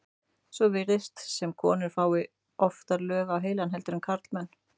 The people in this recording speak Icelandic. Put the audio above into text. svo virðist sem konur fái oftar lög á heilann heldur en karlmenn